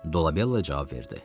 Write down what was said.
Dolabella cavab verdi.